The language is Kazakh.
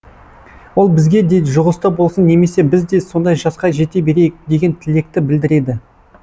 ол бізге де жұғысты болсын немесе біз де сондай жасқа жете берейік деген тілекті білдіреді